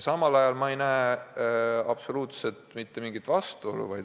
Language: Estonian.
Samal ajal ma ei näe siin absoluutselt mitte mingit vastuolu.